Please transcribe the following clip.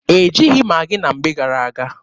E jighị Maghị na mgbe gara-aga.